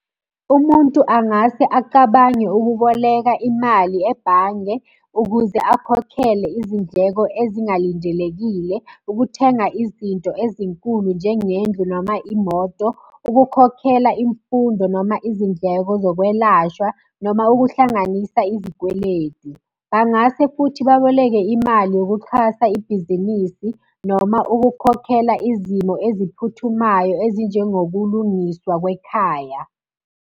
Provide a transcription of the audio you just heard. Umuntu angase acabange ukuboleka imali ebhange, ukuze akhokhele izindleko ezingalindelekile. Ukuthenga izinto ezinkulu njengendlu noma imoto. Ukukhokhela imfundo noma izindleko zokwelashwa noma ukuhlanganisa izikweletu. Bangase futhi baboleke imali yokuxhasa ibhizinisi noma ukukhokhela izimo eziphuthumayo ezinjengokulungiswa kwekhaya.